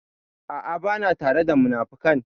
A'a, ba na tare da munafukan.